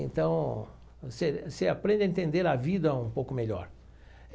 Então, você você aprende a entender a vida um pouco melhor.